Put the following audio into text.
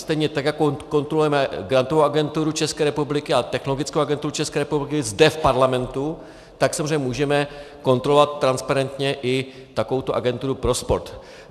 Stejně tak jako kontrolujeme Grantovou agenturu České republiky a Technologickou agenturu České republiky zde v parlamentu, tak samozřejmě můžeme kontrolovat transparentně i takovouto agenturu pro sport.